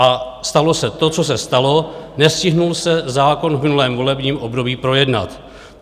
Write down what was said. A stalo se to, co se stalo: nestihl se zákon v minulém volebním období projednat.